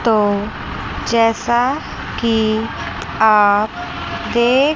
तो जैसा कि आप देख--